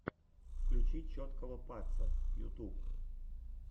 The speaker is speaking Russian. включи чоткого паца ютуб